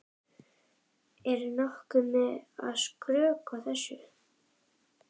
Er ég nokkuð að skrökva þessu?